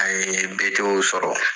A ye bɛɛ to sɔrɔ.